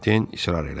Den israr elədi.